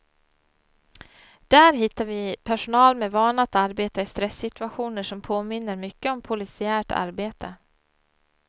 Där hittar vi personal med vana att arbeta i stressituationer som påminner mycket om polisiärt arbete.